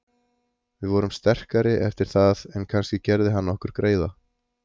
Við vorum sterkari eftir það en kannski gerði hann okkur greiða.